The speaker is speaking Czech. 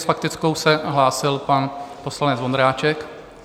S faktickou se hlásil pan poslanec Vondráček.